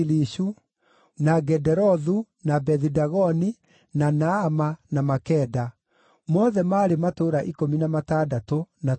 na Gederothu, na Bethi-Dagoni, na Naama, na Makeda; mothe maarĩ matũũra ikũmi na matandatũ na tũtũũra twamo.